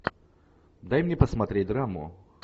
дай мне посмотреть драму